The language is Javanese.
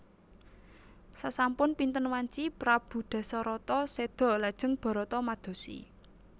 Sasampun pinten wanci prabu Dasarata séda lajeng Barata madosi